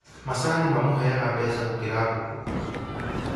Macani mamũheaga mbeca gũkĩra ngũkũ